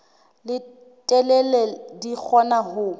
e telele di kgona ho